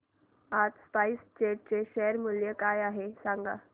आज SpiceJet चे share मूल्य काय आहे सांगा बरं